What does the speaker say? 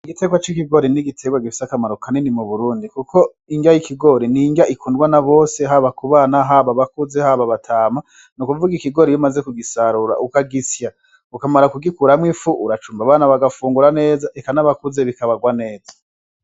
Igiterwa c'ikigori n'igiterwa gifise akamaro kanini mu Burundi, kuko indya y'ikigori n'indya ikundwa na bose, haba kubana, haba abakuze, haba abatama. Ni ukuvuga ikigori iyo umaze kugisarura ukagisya, ukamara kugikuramwo ifu, uracumba abana bagafungura neza, eka n'abakuze bikabarwa neza.